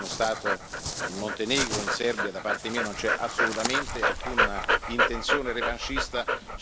Sono stato più volte in Croazia, sono stato più volte in Slovenia, come sono stato in Montenegro e in Serbia.